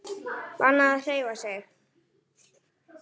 Bannað að hreyfa sig.